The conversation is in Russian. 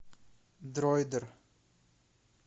дроидер